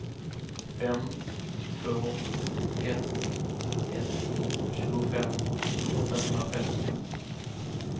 fem två ett ett tjugofem åttahundrafemtio